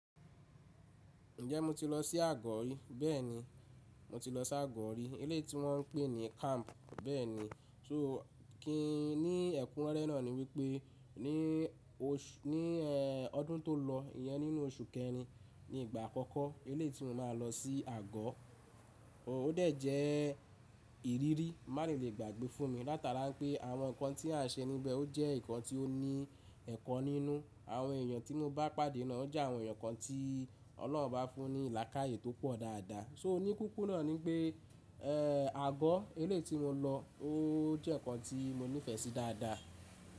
Ǹjẹ́ mo ti lọ sí àgọ́ ri? Béẹni, mo ti lọ sí àgọ́ rí. Eléyii tí wọ́n ń pè ní camp, bẹ́ẹ̀ni. Kí ni ẹ̀kúnrẹ́re náà ni wípé ní ọdún tò lọ, ìyẹn nínú oṣù kẹrin ni ìgbà àkọ́kọ́ eléyii tí mo máa lọ sí àgọ́. Ó dẹ̀ jẹ́ ìrírí má rí lè gbàgbé fún mi. Látara pé àwọn nǹkan tí a ń ṣe níbẹ̀ ó jẹ́ nǹkan tí ó ní ẹ̀kọ nínú. Àwọn èèyàn tí mo bá pàdé náà ó jẹ́ àwọn èèyàn kan tí Ọlọ́run obá fún ní làakaáyè tó pọ̀ dáadáa. So ní kúkúru náà ni pé, àgọ́, eléyii tí mo lọ, ó jẹ́ nǹkan tí mo nífẹ̀ẹ́ sí dáadáa.